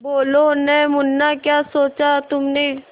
बोलो न मुन्ना क्या सोचा तुमने